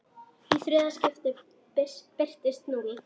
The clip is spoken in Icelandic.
Í þriðja skiptið birtist núll.